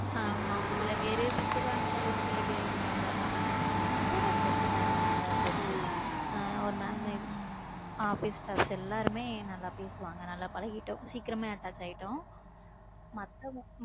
ஆமா ஒரு சில பேரு திட்டுவாங்க ஒரு சில பேரு இதாதா பேசுவாங்க. நம்ம கூட இருக்கிறவங்க எல்லாருமே நல்ல friends உ ஆஹ் ஒரு mam office staffs எல்லாருமே நல்லா பேசுவாங்க, நல்லா பழகிட்டோம் சீக்கிரமே attach ஆயிட்டோம் மத்தவங்க